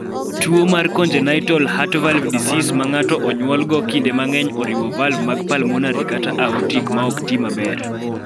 Tuo mar congenitalheart valve disease ma ng�ato onyuolego kinde mang�eny oriwo valv mag pulmonary kata aortic ma ok ti maber.